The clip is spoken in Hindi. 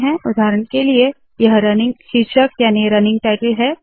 उदाहरण के लिए यह रनिंग शीर्षक याने रनिंग टाइटल है